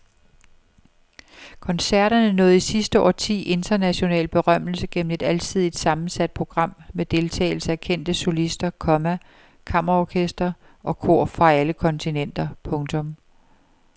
Koncerterne nåede i sidste årti international berømmelse gennem et alsidigt sammensat program med deltagelse af kendte solister, komma kammerorkestre og kor fra alle kontinenter. punktum